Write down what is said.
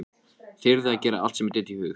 Þyrði að gera allt sem mér dytti í hug.